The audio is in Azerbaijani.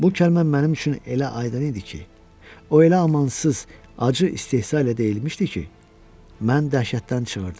Bu kəlmə mənim üçün elə aydın idi ki, o elə amansız, acı istehza ilə deyilmişdi ki, mən dəhşətdən çığırdım.